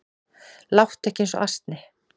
Láttu ekki eins og asni